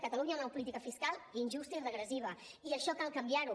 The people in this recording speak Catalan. catalunya té una política fiscal injusta i regressiva i això cal canviar ho